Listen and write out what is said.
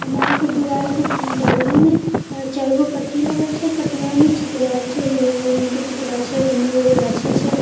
आ मॉल के दीवाल के बगली में चार जो पट्टी लगल छे पाटिया में चित्रहार छे हीरो हीरोइन के चित्रा छै एने एगो गाछी छै--